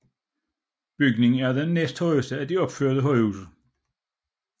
Bygningen er den næsthøjeste af de opførte højhuse